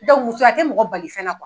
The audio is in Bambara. muso ya tɛ mɔgɔ bali fɛn na